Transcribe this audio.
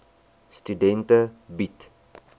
studente bied